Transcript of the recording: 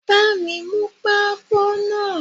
Bami mú pako náà!